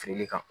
Firili kan